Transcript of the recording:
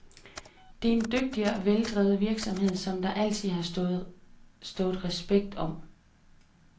Det er en dygtig og veldrevet virksomhed, som der altid har stået respekt om.